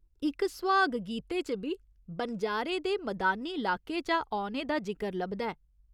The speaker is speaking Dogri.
इक सुहाग गीते च बी बनजारे दे मदानी लाके चा औने दा जिकर लभदा ऐ।